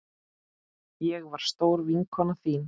Ég var stór vinkona þín.